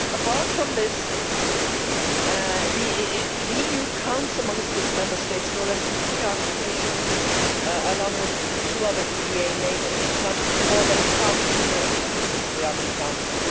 Apart from this, the EU counts amongst its Member States no less than three Arctic nations along with two other EEA neighbours, accounting for more than half the numeric membership of the Arctic Council.